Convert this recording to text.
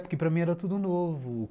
Porque para mim era tudo novo.